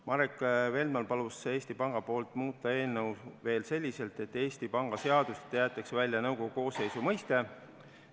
Marek Feldman palus Eesti Panga nimel muuta eelnõu veel selliselt, et Eesti Panga seadusest jäetaks välja nõukogu koosseisu mõiste.